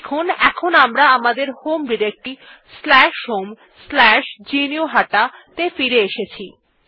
দেখুন এখন আমরা আমাদের হোম ডিরেক্টরী homegnuhata ত়ে ফিরে এসেছি